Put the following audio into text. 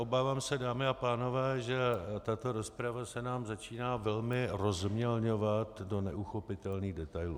Obávám se, dámy a pánové, že tato rozprava se nám začíná velmi rozmělňovat do neuchopitelných detailů.